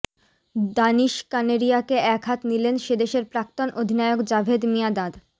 দানিশ কানেরিয়াকে একহাত নিলেন সেদেশের প্রাক্তন অধিনায়ক জাভেদ মিয়াঁদাদ